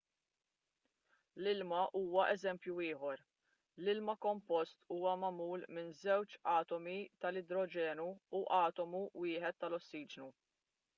l-ilma huwa eżempju ieħor l-ilma kompost huwa magħmul minn żewġ atomi tal-idroġenu u atomu wieħed tal-ossiġenu